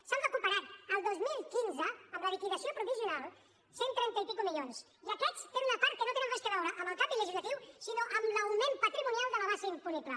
s’han recuperat el dos mil quinze amb la liquidació provisional cent i trenta milions i escaig i aquests tenen una part que no té res a veure amb el canvi legislatiu sinó amb l’augment patrimonial de la base imposable